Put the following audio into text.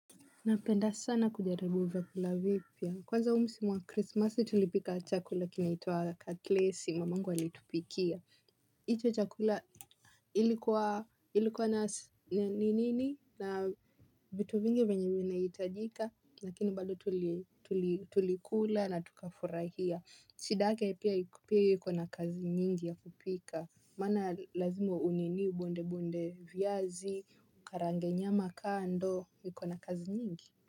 Napenda sana kujaribu vyakula vipya. Kwanza msimui wa krismasi tulipika chakula kinaitwa kaklesi mamangu alitupikia. Hicho chakula ilikuwa ilikuwa na ninini na vitu vingi venye wina hitajika. Lakini bado tulikula na tukafurahia. Shidake pia iko na kazi nyingi ya kupika. Maana lazimu uniniu bonde bonde viazi, ukarange nyama kando, iko na kazi nyingi.